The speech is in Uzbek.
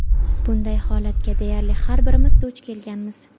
Bunday holatga deyarli har birimiz duch kelganmiz.